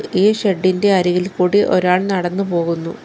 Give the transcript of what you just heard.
ഈ ഷെഡ് ഇന്റെ അരികിൽ കൂടി ഒരാൾ നടന്നു പോകുന്നു.